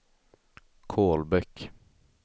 Kolbäck